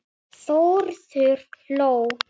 Þórður hló.